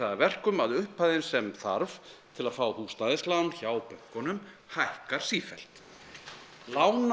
að verkum að upphæðin sem þarf til að fá húsnæðislán hjá bönkunum hækkar sífellt